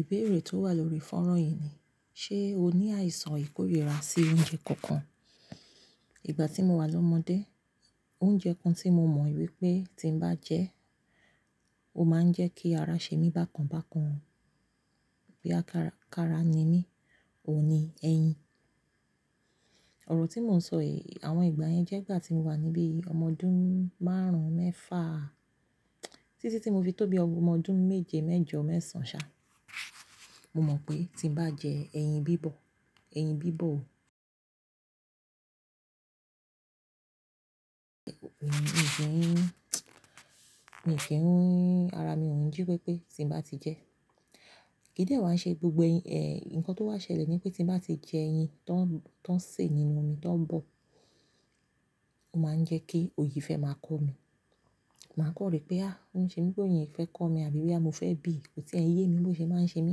Ìbéèrè tó wà lórí fónrán yìí ni, ṣe o ní àìsàn ìkórìíra sí oúnjẹ kankan? Ìgbà tí mo wà lọ́mọdé, oúnjẹ kan tí mo mọ̀ wípé tí n bá jẹ́, ó máa ń jẹ́ kí ara ṣe mí bákan bákan, pé á ká-kára ni mí, òun ni ẹyin. Òrò tí mo ń sọ èyí, àwọn ìgbà yẹn jẹ́ ìgbà tí mo wà níbí ọmọ ọdún márùn-ún mẹ́fà, títí tí mo fi tó bí ọmọ ọdún méje mẹ́jọ mẹ́sàn sá. Mo mọ̀ pé tí n bá jẹ ẹyin bíbọ̀, ẹyin bíbọ̀ ò mi ò fẹ́ rún, mi ò fẹ́ rún ẹyin, ara mi ò ń jí pépé tí n bá ti jẹ ẹ́. Kídẹ̀ ẹ wa ṣe gbogbo ẹ̀, ǹkan tó wá ṣẹlẹ̀ ni pé tí n bá ti jẹ ẹyin tó ń-tó ń sè nínú omi tó ń bọ̀, ó máa ń jẹ́ kí òyìífẹ́ máa kọ mí. Màá kọ̀wé pé "à, ó ń ṣe bíi pé òyìífẹ́ kọ mí" àbí wípé "à, mo fẹ́ bì" bó ti ẹ̀yin yé mi ló ṣe máa ń ṣe mí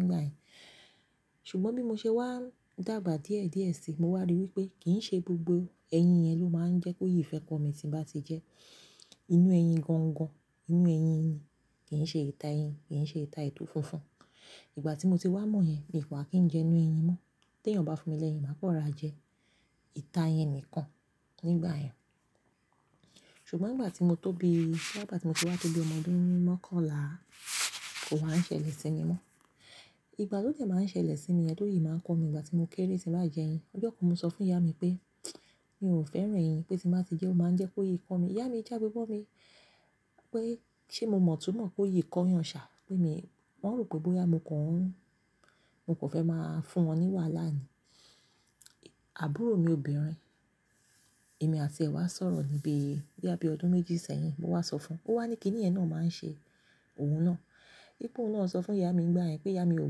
nígbà yẹn. Ṣùgbọ́n bí mo ṣe wá dàgbà díẹ̀ díẹ̀ síi, mo wá rí wípé kì í ṣe gbogbo ẹyin yẹn ló máa ń jẹ́ kó yìíífẹ́ kọ̀ mí tí n bá ti jẹ ẹ́. Inú ẹyin gangan, inú ẹyin yìí kì í ṣe ìta ẹyin, kì í ṣe ìta ètò funfun. Ìgbà tí mo ti wá mọ̀ yẹn, mi kò ha kí n jẹ inú ẹyin mọ́. Tí ènìyàn bá fún mi lẹ́yìn, màá kọ́ra jẹ ìta yẹn nìkan nígbà yẹn. Ṣùgbọ́n ìgbà tí mo tó bí, nígbà tí mo ti wá tó bí ọmọ ọdún mẹ́kọ̀ọ́lá, ò wá ń ṣẹlẹ̀ sí mi mọ́. Ìgbà tó jẹ́ máa ń ṣẹlẹ̀ sí mi, ẹtọ yìí máa ń kọ mí ìgbà tí mo kéré tí n bá jẹ ẹyin. Ọjọ́ kan mo sọ fún ìyá mi pé, mi ò fẹ́ràn ẹyin, pé tí n bá ti jẹ ẹ́, ó máa ń jẹ́ kó yìí kọ́ mi. Ìyá mi já gbogbo mi, pé ṣé mo mọ̀ túmọ̀ kó yìí kọ́ yan ṣà? Pé mi, wọ́n rò pé bóyá mo kàn ń-- mo kò fẹ́ máa fún wọn ní wàhálà ni. Àbúrò mi obìnrin, èmi àti ẹ̀ wá sọ̀rọ̀ níbí bí i ọdún méjì sẹ́yìn, mo wá sọ fún un. Ó wá ní kí nìyẹn náà máa ń ṣe òun náà. Í pé òun náà sọ fún ìyá mi nígbà yẹn pé ìyá mi ò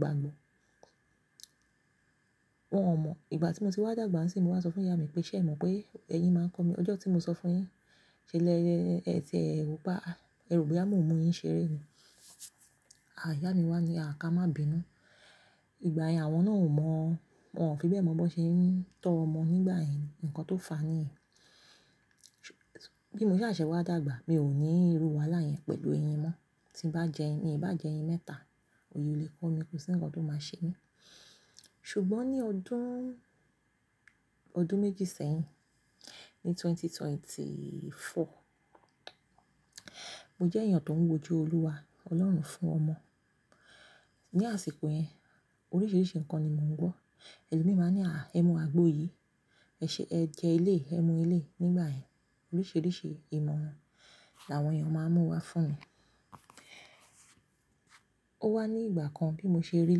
gbàgbọ́. Wọn ò mọ̀. Ìgbà tí mo ti wá dàgbà si, mo wá sọ fún ìyá mi pé ṣé ẹ mọ̀ pé ẹyin máa ń kọ́ mi? Ọjọ́ tí mo sọ fún yín ṣẹlẹ ẹ ti ẹ rò pé à, ẹ rò pé à mú-mú ẹyin ṣe eré ni. À, ìyá mi wá ní, à ká má bínú. Ìgbà yẹn àwọn náà ò mọ̀, wọ́n ò fi bẹ́ẹ̀ mọ̀ bó ṣe ń tọ́ ọmọ nígbà yẹn ǹkan tó fàá nìyẹn. Bí mo ṣe ṣàṣẹ̀ wá dàgbà, mi ò ní irú wàhálà yẹn pẹ̀lú ẹyin mọ́. Tí n bá jẹ ẹyin, ní bá jẹ ẹyin mẹ́ta, òye ò lè kọ́ mi, kò sí ǹkan tó máa ṣe mí. Ṣùgbọ́n ní ọdún, ọdún méjì sẹ́yìn, ní ẹgbẹ̀rún méjì ó lé ẹ́rinlélógún, mo jẹ́ èèyàn tó ń wòjó Olúwa, Ọlọ́run fún ọmọ. Ni àsìkò yẹn, oríṣiríṣi ǹkan ni mò ń gbọ́. Ẹ̀lòmíràn máa ní à, ẹ mu àgbo yìí, ẹ ṣe-- ẹ jẹ ilé, ẹ mu ilé. Nígbà yẹn, oríṣiríṣi ìmọ̀ran làwọn èèyàn máa ń mú wá fún mi. Ó wá ní ìgbà kan bí mo ṣe rí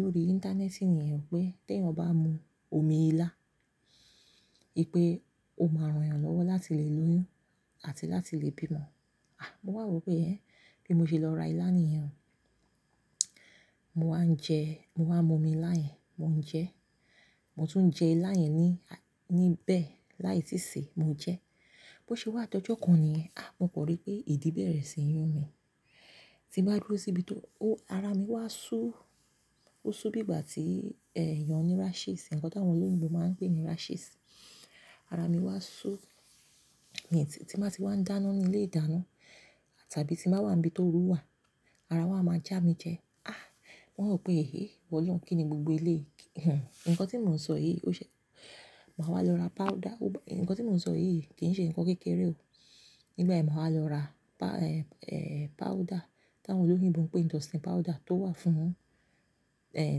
lórí íńtánẹ́ẹ̀sì níyẹn pé tí ènìyàn bá mu omi ilá, ìpé ó máa ran èèyàn lọ́wọ́ láti lè lóyún àti láti lè bímọ. À, mo wá rò pé ẹ, bí mo ṣe lọ ra ilá níyẹn, mo wá ń jẹ, mo wá ń mu omi ilá yẹn, mò ń jẹ ẹ́. Mo tún jẹ ilá yẹn ní, níbẹ̀ láì tíì sè, mo jẹ ẹ́. Bó ṣe wá tó ọjọ́ kan ni, à, mo kọ̀wé pé ìdí bẹ̀rẹ̀ sí ní yún mi. Tí n bá dúró síbi tó, ó, ara mi wá sú, ó sú bí ìgbà tí èèyàn ní rashes, ǹkan tí àwọn olóyún ló máa ń pè ní rashes. Ara mi wá sú, ní ti-tí má sì wá ń dáná ní ilé ìdáná tàbí tí màá wà níbi tó wúwà, ara wá a má já mi jẹ. À, wọ́n rò pé ehé, wọ̀nyí ń kí ni gbogbo ilé. Hhm. Ǹkan tí mò ń sọ yìí, ó ṣe-- màá wá lọ ra páúdà. Ǹkan tí mò ń sọ yìí kì í ṣe ǹkan kékeré o. Nígbà yẹn, mo wá lọ ra pá, eh, eh, páúdà tí àwọn olóyún ń bọ̀ pé indocin powder tó wà fún, eh,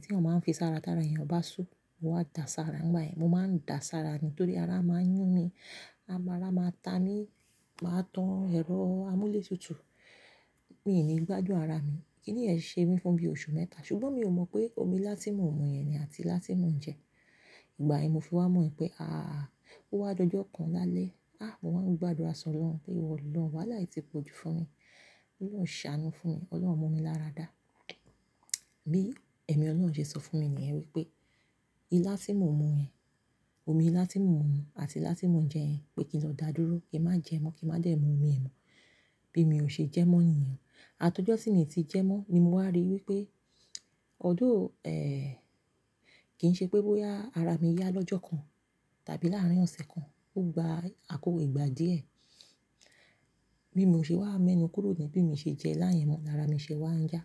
tí èèyàn máa ń fi sára tí ara èèyàn bá sú, ó wá da sára. Nígbà yẹn, mo máa ń da sára nítorí ara máa ń yún mi, ara máa ta mí, màá tan ẹ̀rọ amúlé tutù, mí ò ní gbájú ara mi. Kí nìyẹn ṣe mi fún bí oṣù mẹ́ta. Ṣùgbọ́n mi ò mọ̀ pé omi lásímo òmù yẹn ni àti lásímo oúnjẹ. Ìgbà yẹn mo fi wá mọ̀ yẹn pé àá. Ó wá jó ọjọ́ kan lálẹ́, à, mo wá ń gbàdúrà sọ lọ́run pé wọ́ lọ wàhálà yìí tí po ju fún mi, lọ sàánú fún mi, Ọlọ́run mú mi lára dá. Bí ẹ̀mí Ọlọ́run ṣe sọ fún mi níyẹn wípé ilá síìmù òmù yẹn, omi ilá síìmù òmù àti ilá síìmù oúnjẹ yẹn pé kí n lọ dá dúró, kí n má jẹ mọ́, kí n má dẹ̀ mu omi ẹ̀mú bí mi ò ṣe jẹ mọ́ èèyàn. Àtọ́jọ́ sí mi tí jẹ mọ́ ni mo wá rí wípé ọ̀dọ̀, ẹ́ẹ́, kì í ṣe pé bóyá ara mi yá lọ́jọ́ kan tàbí láàárín ọ̀sẹ̀ kan, ó gba àkókò ìgbà díẹ̀. Bí mo ṣe wá mọ́ ẹnu kúrò jẹ́ bí mi ṣe jẹ ilá yẹn mọ́ ni ara mi ṣe wá ń yá.